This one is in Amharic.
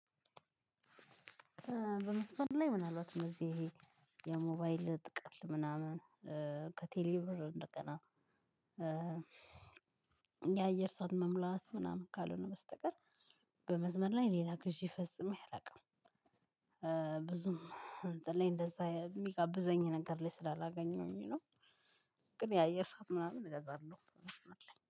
በመስመር ላይ ምናልባት እዚህ ይሄ የሞባይል ጥቃት ምናምን ከቴሌብር እንደቀና የአየር ሰዓት መሙላት ምናምን ካልሆነ በስተቀር። በመስመር ላይ ሌላ ግዢ ፈጽሞ ያላውቀው ብዙም እንትን ላይ እንደዛ የሚጋብዘኝ ነገር ላይ ስላላገኘሁኝ ነው። ግን ያየር ሰዓት ምናምን እገዛለሁ።